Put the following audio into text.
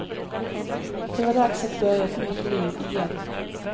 Det var dags att börja ett nytt liv, igen.